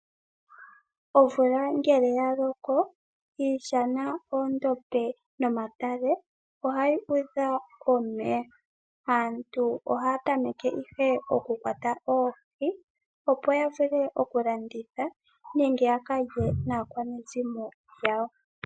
Omvula ngele ya loko iishana, oondombe nomatale ohayi udha omeya, aantu ohaya tameke ihe oku kwata oohi, opo ya vule oku landitha nenge ya kalye naakwanezimo lyawo.